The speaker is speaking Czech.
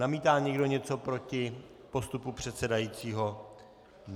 Namítá někdo něco proti postupu předsedajícího?